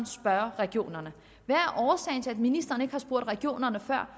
spørge regionerne hvad er årsagen til at ministeren ikke har spurgt regionerne før